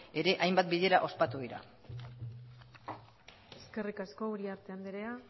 ere hainbat bilera ospatu dira eskerrik asko uriarte andrea